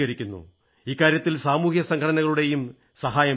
ഇക്കാര്യത്തിൽ സാമൂഹിക സംഘടനകളുടെയും സഹായം ലഭിക്കുന്നു